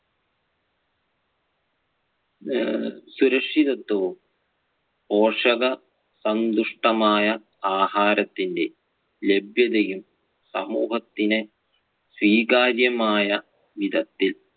അഹ് സുരക്ഷിതത്വവും പോഷകസമ്പുഷ്ടമായ ആഹാരത്തിന്‍റെ ലഭ്യതയും സമൂഹത്തിന് സ്വീകാര്യം ആയ വിധത്തിൽ